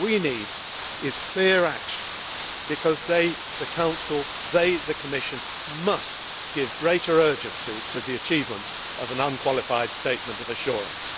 What we need is clear action, because the Council and the Commission must give greater urgency to the achievement of an unqualified statement of assurance.